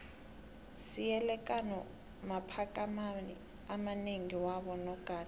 siele kano makhamphani amanengi wabo nogada